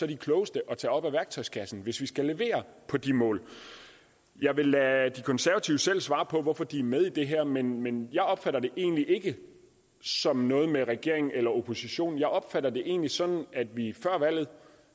de klogeste at tage op af værktøjskassen hvis vi skal levere på de mål jeg vil lade de konservative selv svare på hvorfor de er med i det her men men jeg opfatter det egentlig ikke som noget med regeringen eller oppositionen jeg opfatter det egentlig sådan at vi før valget